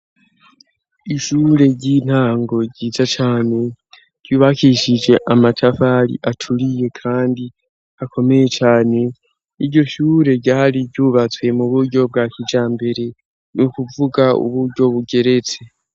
Ishure ry'intango ryiza cane, ryubakishije amatafari aturiye kandi akomeye cane iryoshure ryari ryubatswe mu buryo bwa kijambere nukuvuga uburyo bugeretse.